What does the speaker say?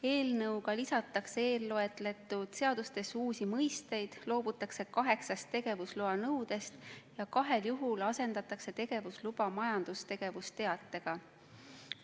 Eelnõuga lisatakse eelloetletud seadustesse uusi mõisteid, loobutakse kaheksast tegevusloa nõudest ja kahel juhul asendatakse tegevusluba majandustegevusteatega.